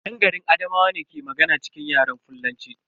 Yan garin Adamawa ne ke magana cikin Yaren fullanci.